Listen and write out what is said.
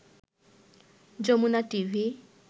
Jamuna TV